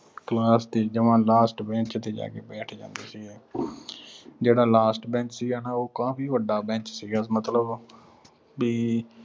class ਜਮਾ last bench ਤੇ ਜਾ ਕੇ ਬੈਠ ਜਾਂਦੇ ਸੀਗੇ। ਜਿਹੜਾ last bench ਸੀਗਾ ਨਾ ਅਹ ਉਹ ਕਾਫ਼ੀ ਵੱਡਾ bench ਸੀਗਾ। ਮਤਲਬ ਵੀ